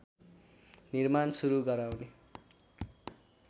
निर्माण सुरु गराउने